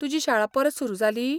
तुजी शाळा परत सुरू जाली?